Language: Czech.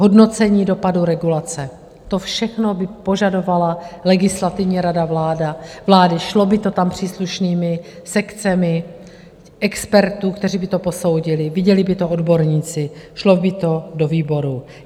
Hodnocení dopadů regulace, to všechno by požadovala Legislativní rada vlády, šlo by to tam příslušnými sekcemi expertů, kteří by to posoudili, viděli by to odborníci, šlo by to do výborů.